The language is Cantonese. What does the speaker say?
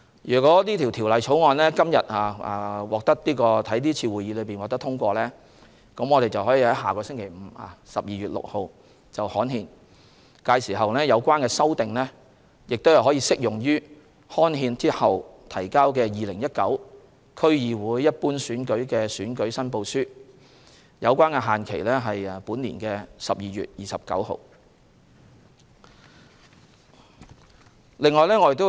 如《條例草案》於今天會議獲得通過，我們可於下星期五，即12月6日刊憲，屆時有關修訂將適用於刊憲後提交的2019年區議會一般選舉的選舉申報書，提交的限期為本年12月29日。